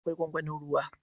Akwai gwangwanin ruwa